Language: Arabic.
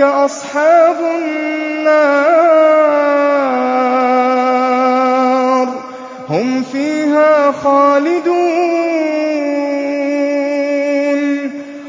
أَصْحَابُ النَّارِ ۖ هُمْ فِيهَا خَالِدُونَ